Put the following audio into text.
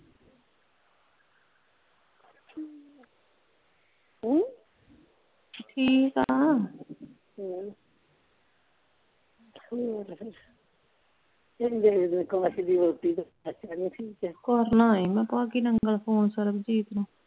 ਹਮ ਠੀਕ ਆ ਹਮ ਹੋਰ ਫੇਰ ਅਕਾਸ਼ ਦੀ ਵਹੁਟੀ ਦਾ ਬੱਚਾ ਨਹੀਂ ਠੀਕ ਕਰਨਾ ਸੀ ਮੈਂ ਭਾਗੀ ਨੰਗਲ ਫ਼ੋਨ ਸਰਬਜੀਤ ਨੂੰ